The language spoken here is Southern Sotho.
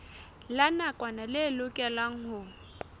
la nakwana le lokelwang ho